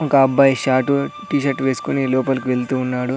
ఒక అబ్బాయి short T shirt వేసుకొని లోపలికి వెళ్తూ ఉన్నాడు.